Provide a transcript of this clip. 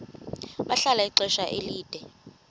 bahlala ixesha elide